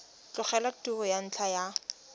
tlogela tiro ka ntlha ya